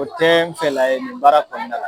O tɛ n fɛla ye nin baara kɔnɔna la.